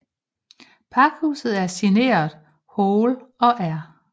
Pakhuset er signeret Hoel og R